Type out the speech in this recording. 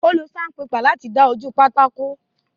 Ó lo saunpépà láti dán ojú pátákó.